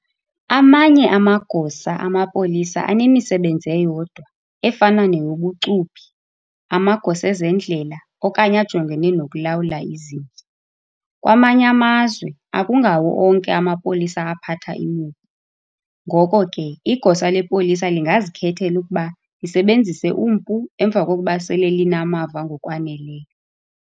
Amanye amagosa amapolisa anemisebenzi eyodwa, efana neyobucuphi, amagosa ezendlela, okanye ajongene nokulawula izinja. Kwamanye amazwe, akungawo onke amapolisa aphatha imipu, ngoko ke igosa lepolisa lingazikhethela ukuba lisebenzise umpu emva kokuba sele linamava ngokwaneleyo.